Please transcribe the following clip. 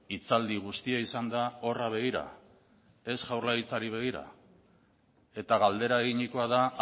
hitzaldi guztia izan da horra begira ez jaurlaritzari begira eta galdera eginikoa da